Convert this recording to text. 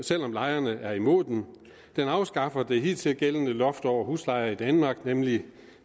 selv om lejerne er imod den den afskaffer det hidtidigt gældende loft over huslejer i danmark nemlig